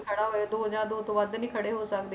ਖੜਾ ਹੋਵੇ, ਦੋ ਜਾਂ ਦੋ ਤੋਂ ਵੱਧ ਨੀ ਖੜੇ ਹੋ ਸਕਦੇ,